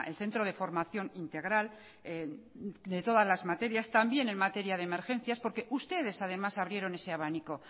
centro de formación integral de todas las materias también en materia de emergencias porque ustedes además abrieron ese abanico